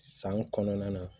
San kɔnɔna na